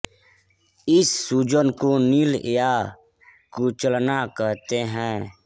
इस सूजन को नील या कुचलना कहते हैं